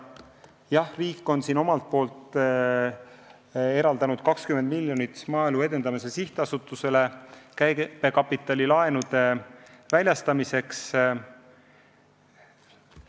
Jah, riik on eraldanud 20 miljonit Maaelu Edendamise Sihtasutusele käibekapitali laenude väljastamiseks.